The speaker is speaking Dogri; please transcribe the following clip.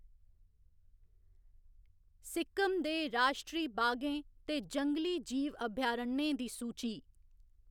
सिक्किम दे राश्ट्री बागें ते जंगली जीव अभयारण्यें दी सूची